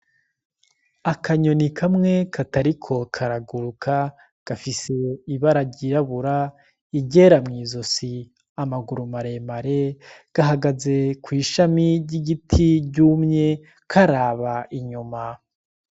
Akanyoni kamwe katariko karaguruka gafise ibara ry'irabura, iryera mw'izosi amaguru mare mare, gahagaze kw'ishami ry'igiti ryumye karaba inyuma.